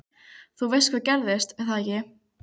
Þú veist hvað gerðist, er það ekki?